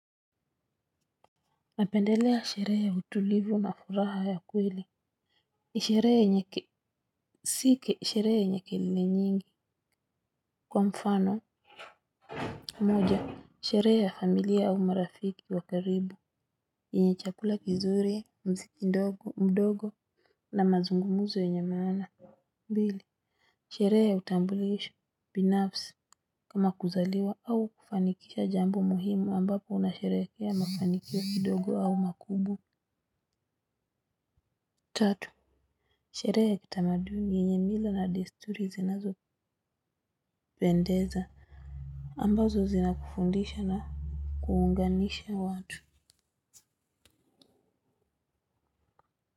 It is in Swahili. Napendelea sherehe ya utulivu na furaha ya kweli. Sherehe yenye si sherehe yenye kelele nyingi. Kwa mfano moja sherehe ya familia au marafiki wa karibu yenye chakula kizuri, mziki mdogo na mazungumzo yenye maana, pili sherehe ya utabulisho binafsi kama kuzaliwa au kufanikisha jambo muhimu ambapo unasherehekea mafanikio kidogo au makubwa. Tatu sherehe ya kitamaduni yenye mila na desturi zinazo pendeza ambazo zina kufundisha na kuunganisha watu.